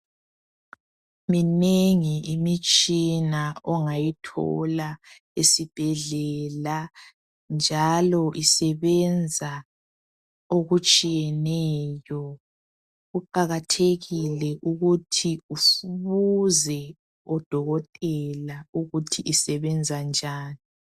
Minengi imitshina ongayithola esibhedlela njalo isebenza okutshiyeneyo. Kuqakathekile ukuthi ubhze odokotela ukuthi isebenza njani.